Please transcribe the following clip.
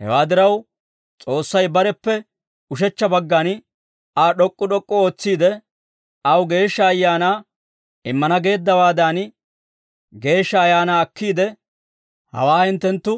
Hewaa diraw, S'oossay bareppe ushechcha baggan Aa d'ok'k'u d'ok'k'u ootsiide, aw Geeshsha Ayaanaa immana geeddawaadan, Geeshsha Ayaanaa akkiide, hawaa hinttenttu